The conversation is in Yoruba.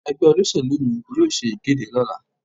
Ẹgbẹ́ olóṣèlú mi yóò ṣe ìkéde lọ́la.